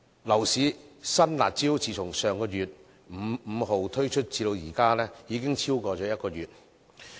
樓市新"辣招"自從上月5日推出至今，已經超過1個月。